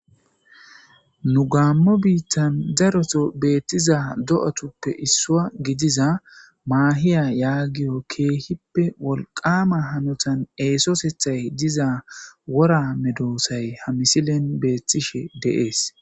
Nu gaammo biittan daroto beettiza do'atuppe issua gidiza maahiya yaagiyo keehippe wolqama hanotan eesosethay diza wora medoosay ha misilen beettishe deees.